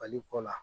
Bali kɔ la